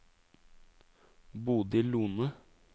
Bodil Lohne